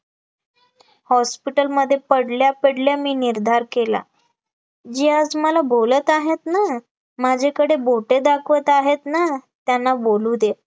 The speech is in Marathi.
hospital मध्ये पडल्या पडल्या मी निर्धार केला, जे आज मला बोलत आहेत ना, माझ्याकडे बोटे दाखवत आहेत ना त्यांना बोलू दे